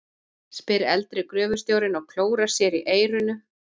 spyr eldri gröfustjórinn og klórar sér í eyranu.